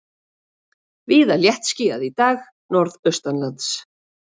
Víða léttskýjað í dag norðaustanlands